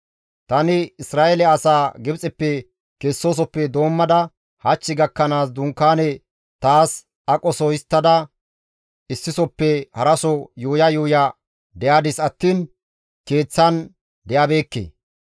Tani Isra7eele asaa Gibxeppe kesoosofe doommada hach gakkanaas dunkaane taas aqoso histtada issisoppe haraso yuuya yuuya de7adis attiin keeththan de7abeekke.